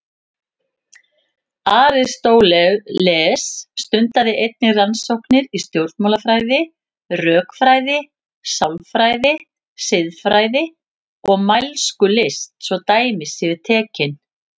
Aristóteles stundaði einnig rannsóknir í stjórnmálafræði, rökfræði, sálfræði, siðfræði og mælskulist svo dæmi séu tekin.